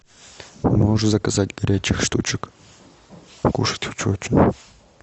можешь заказать горячих штучек покушать хочу очень